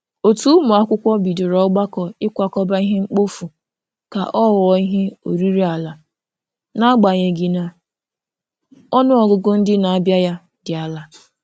Otu ụmụakwụkwọ bidoro ọgbakọ ikwakọba ihe mkpofu ka ọ ghọọ ihe oriri ala, n'agbanyeghị na ọnụọgụgụ ndị na-abịa ya dị ala.